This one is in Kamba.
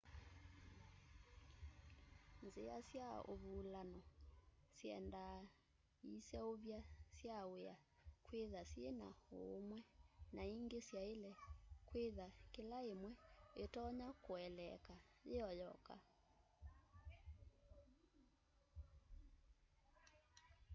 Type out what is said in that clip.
nzĩa sya ũvũlano syendaa ĩseũvya sya wĩa kwĩtha syĩna ũũmwe na ĩngĩ syaĩle kwĩtha kĩla ĩmwe ĩtonya kũeleeka yĩoyoka